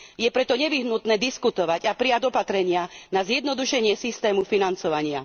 Je preto nevyhnutné diskutovať a prijať opatrenia na zjednodušenie systému financovania.